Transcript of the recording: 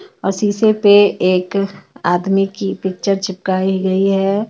ओर शीशे पे एक आदमी की पिक्चर चिपकाई गई है.